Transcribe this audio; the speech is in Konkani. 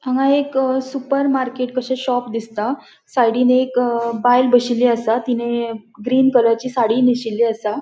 हांगा एक सुपर मार्केट कशे शॉप दिसता साइडीन एक बायल बशीली असा तिने ग्रीन कलरची साड़ी नेशीली असा.